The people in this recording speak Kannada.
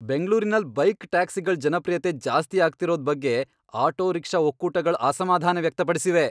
ಬೆಂಗ್ಳೂರಿನಲ್ ಬೈಕ್ ಟ್ಯಾಕ್ಸಿಗಳ್ ಜನಪ್ರಿಯತೆ ಜಾಸ್ತಿ ಆಗ್ತಿರೋದ್ ಬಗ್ಗೆ ಆಟೋ ರಿಕ್ಷಾ ಒಕ್ಕೂಟಗಳ್ ಅಸ್ಮಾಧಾನ ವ್ಯಕ್ತಪಡ್ಸಿವೆ.